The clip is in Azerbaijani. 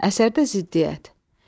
Əsərdə ziddiyyət.